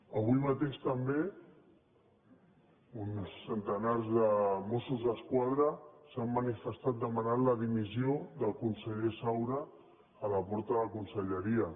avui mateix també uns centenars de mossos d’esquadra s’han manifestat demanant la dimissió del conseller saura a la porta de conselleria